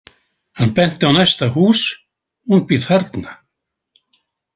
Hann benti á næsta hús: Hún býr þarna.